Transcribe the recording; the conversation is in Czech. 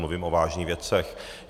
Mluvím o vážných věcech.